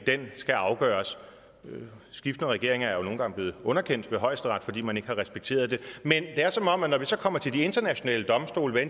skal afgøres skiftende regeringer er jo nogle gange blevet underkendt ved højesteret fordi man ikke har respekteret det men det er som om at når vi så kommer til de internationale domstole hvad